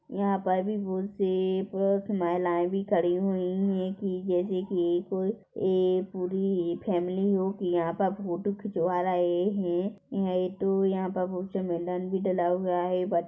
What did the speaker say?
यहाँ पर भी बहुत से पुरुष महिलाएं भी खड़ी हुईं हैं कि जैसे कि कोई ऐ पूरी फैमिली हो की यहाँ पर फोटो खिचवा रहें हैं यहाँ पर बहुत जमेलन भी डला हुआ हैं।